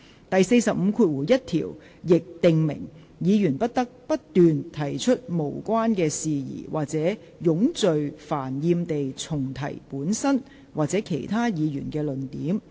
第451條亦訂明，議員不得不斷提出無關的事宜或冗贅煩厭地重提本身或其他議員的論點。